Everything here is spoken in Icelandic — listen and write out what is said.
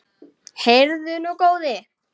Heyrðu nú, góði!